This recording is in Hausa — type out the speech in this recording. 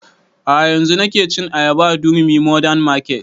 A'a yanzun nake cin ayaba a durumi modern market